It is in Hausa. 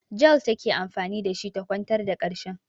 Jel take anfani da shi ta kwantar da ƙarshen.